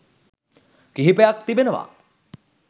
කිහිපයක් තිබෙනවා.